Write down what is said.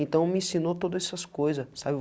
Então, me ensinou todas essas coisas, sabe?